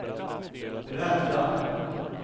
rädda